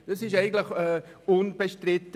Das war eigentlich unbestritten.